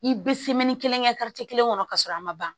I bɛ kelen kɛ kelen kɔnɔ ka sɔrɔ a ma ban